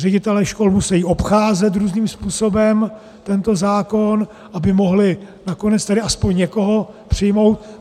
Ředitelé škol musejí obcházet různým způsobem tento zákon, aby mohli nakonec tedy aspoň někoho přijmout.